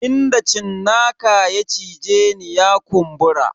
Inda cinnaka ya cije ni ya kumbura.